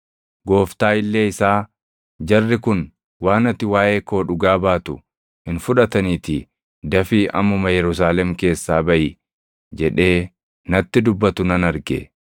Gooftaa illee isaa, ‘Jarri kun waan ati waaʼee koo dhugaa baatu hin fudhataniitii dafii ammuma Yerusaalem keessaa baʼi!’ jedhee natti dubbatu nan arge.